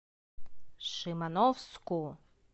шимановску